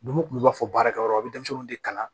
Numu kun b'a fɔ baarakɛyɔrɔ a bɛ denmisɛnninw de kalan